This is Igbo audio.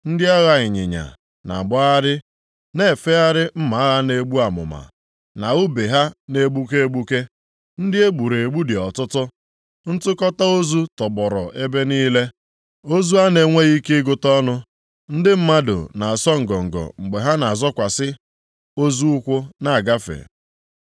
Ndị agha ịnyịnya, na-agbagharị na-efegharị mma agha na-egbu amụma, na ùbe ha na-egbuke egbuke. Ndị e gburu egbu dị ọtụtụ, ntụkọta ozu tọgbọrọ ebe niile, ozu a na-enweghị ike ịgụta ọnụ, ndị mmadụ na-asọ ngọngọ mgbe ha na-azọkwasị ozu ụkwụ na-agafe.